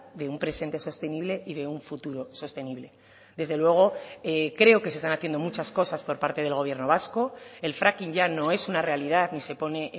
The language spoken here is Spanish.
de un presente sostenible y de un futuro sostenible desde luego creo que se están haciendo muchas cosas por parte del gobierno vasco el fracking ya no es una realidad ni se pone